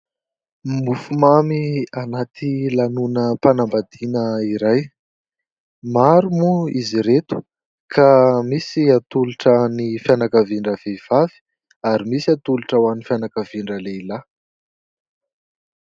Mofomamy anaty lanonam-panambadiana iray maro moa izy ireto ka misy atolotra ho an'ny fianakavian'ny rahavehivavy ary misy ho an'ny fianakavian-dralehilahy